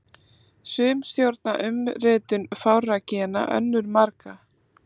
Sum stjórna umritun fárra gena, önnur margra.